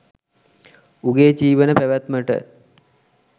උගේ ජීවන පැවැත්මට